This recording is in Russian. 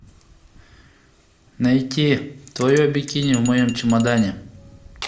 найти твое бикини в моем чемодане